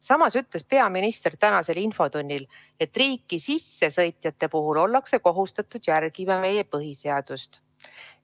Samas ütles peaminister täna infotunnis, et riiki sissesõitjate puhul ollakse kohustatud järgima meie põhiseadust.